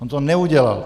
On to neudělal.